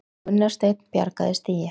Gunnar Steinn bjargaði stigi